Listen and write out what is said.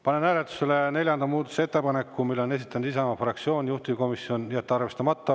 Panen hääletusele neljanda muudatusettepaneku, mille on esitanud Isamaa fraktsioon, juhtivkomisjon: jätta arvestamata.